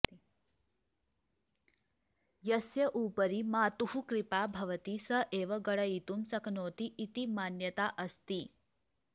यस्य उपरि मातुः कृपा भवति स एव गणयितुं शक्नोति इति मान्यता अस्ति